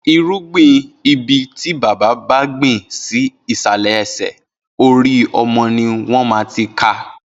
Irúgbin ibi ti bàbá bá gbin si isàlẹ́ ẹsẹ, óri ọmọ niwọn maá ti ká